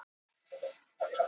Norræna Húsinu